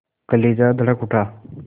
कलेजा धड़क उठा